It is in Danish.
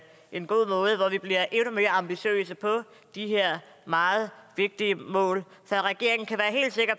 en god måde hvor vi bliver endnu mere ambitiøse på de her meget vigtige mål så regeringen kan